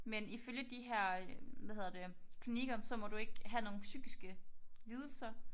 Men ifølge de her hvad hedder det klinikker så må du ikke have nogen psykiske lidelser